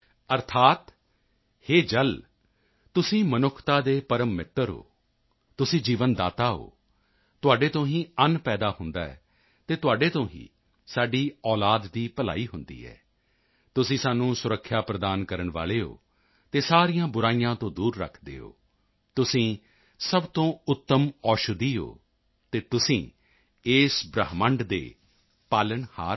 ਅਰਥਾਤ ਹੇ ਜਲ ਤੁਸੀਂ ਮਨੁੱਖਤਾ ਦੇ ਪਰਮ ਮਿੱਤਰ ਹੋ ਤੁਸੀਂ ਜੀਵਨ ਦਾਤਾ ਹੋ ਤੁਹਾਡੇ ਤੋਂ ਹੀ ਅੰਨ ਪੈਦਾ ਹੁੰਦਾ ਹੈ ਅਤੇ ਤੁਹਾਡੇ ਤੋਂ ਹੀ ਸਾਡੀ ਔਲਾਦ ਦੀ ਭਲਾਈ ਹੁੰਦੀ ਹੈ ਤੁਸੀਂ ਸਾਨੂੰ ਸੁਰੱਖਿਆ ਪ੍ਰਦਾਨ ਕਰਨ ਵਾਲੇ ਹੋ ਅਤੇ ਸਾਰੀਆਂ ਬੁਰਾਈਆਂ ਤੋਂ ਦੂਰ ਰੱਖਦੇ ਹੋ ਤੁਸੀਂ ਸਭ ਤੋਂ ਉੱਤਮ ਔਸ਼ਧੀ ਹੋ ਅਤੇ ਤੁਸੀਂ ਇਸ ਬ੍ਰਹਿਮੰਡ ਦੇ ਪਾਲਣਹਾਰ ਹੋ